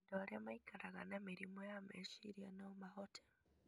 Andũ arĩa maikaraga na mĩrimũ ya meciria no mahote